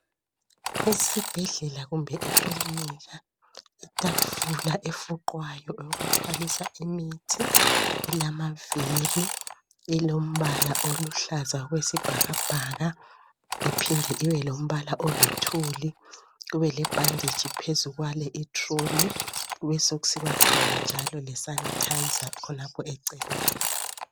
esibhedlela kumbe ekilinika itafula efuqwayo eyokuthwalisa imithi ilamaviri elombala oluhlaza okwesibhakabhaka iphinde ibe lombala oluthuli kube lebhanditshi phezu kwale i trolley kube sekusiba khona le sanitizer khonapho eceleni